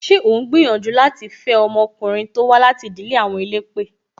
Ṣé o ń gbìyànjú láti fe ọmọkùnrin to wá láti ìdílé àwọn elépè?